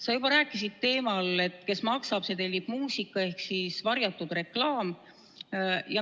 Sa juba rääkisid teemal, et kes maksab, see tellib muusika, ehk varjatud reklaam.